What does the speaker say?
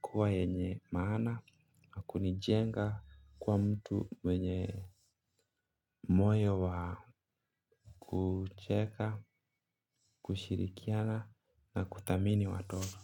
kuwa yenye maana. Na kunijenga kuwa mtu wenye moyo wa kucheka, kushirikiana na kuthamini watoto.